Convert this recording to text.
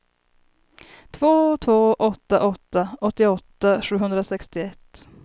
två två åtta åtta åttioåtta sjuhundrasextioett